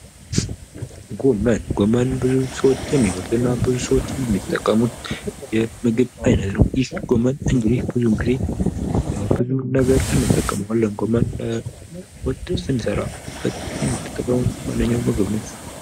ጎመን፦ ጎመን ብዙ ሰዎች የሚበሉትና ብዙ ሰዎች የሚጠቀሙት የምግብ አይነት ነው ፤ ይህ ጎመን ለብዙ ነገሮች እንጠቀማለን፥ ጎመን ወጥ ስንሰራ የምንጠቀመው ዋነኛ ምግብ ነው።